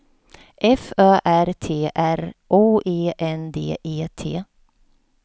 F Ö R T R O E N D E T